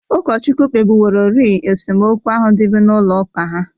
Ụkọchukwu kpebiworori esemokwu ahụ dịbụ n'ụlọ ụka ha.